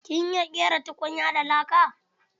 Kin iya ƙera tukunya da laka?